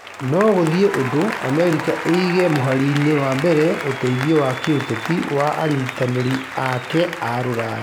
No gũthiĩ ũndũ America ĩige mũhari-inĩ wa mbere ũteithio wa kĩũteti wa anyitanĩri ake a rũraya